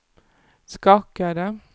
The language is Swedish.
skakade